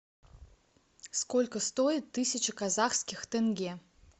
сколько стоит тысяча казахских тенге